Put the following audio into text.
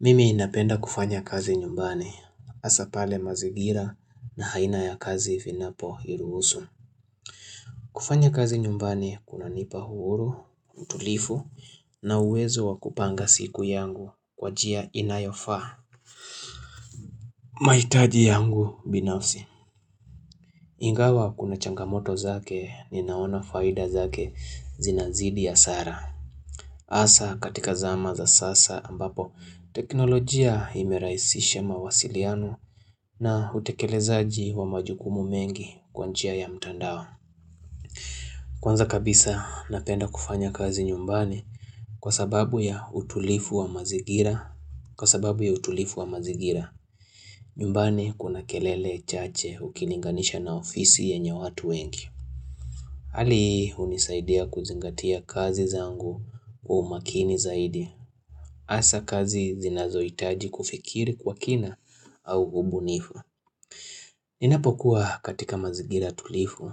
Mimi napenda kufanya kazi nyumbani, hasa pale mazingira na haina ya kazi vinapo niruhusu. Kufanya kazi nyumbani kunanipa uhuru, utulivu na uwezo wa kupanga siku yangu kwa njia inayofaa. Mahitaji yangu binafsi. Ingawa kuna changamoto zake ninaona faida zake zinazidi hasara. Hasa katika zama za sasa ambapo teknolojia imerahisisha mawasiliano na utekelezaji wa majukumu mengi kwa njia ya mtandao. Kwanza kabisa napenda kufanya kazi nyumbani kwa sababu ya utulifu wa mazigira. Kwa sababu ya utulifu wa mazingira, nyumbani kuna kelele chache ukilinganisha na ofisi yenye watu wengi. Ali hunisaidia kuzingatia kazi zangu wa umakini zaidi. Hasa kazi zinazohitaji kufikiri kwa kina au ubunifu. Ninapokuwa katika mazingira tulifu